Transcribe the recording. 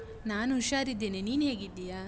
ನಾನು ಹುಷಾರಿದ್ದೇನೆ, ನೀನ್ ಹೇಗಿದ್ದೀಯಾ?